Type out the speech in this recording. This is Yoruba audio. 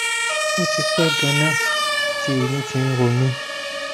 ó ti pẹ ganan tí ẹyìn ti ń ro mí